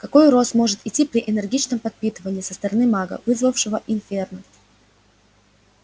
какой рост может идти при энергичном подпитывании со стороны мага вызвавшего инферно